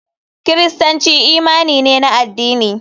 Kiristanci imani ne na addini.